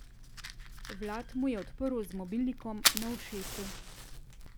Vlad mu je odprl z mobilnikom na ušesu.